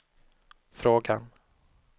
frågan